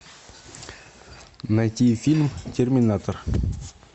найти фильм терминатор